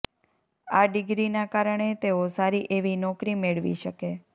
આ ડિગ્રીના કારણે તેઓ સારી એવી નોકરી મેળવી શકે